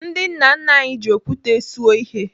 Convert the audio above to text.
Ndị nna nna anyị ji okwute suo ihe.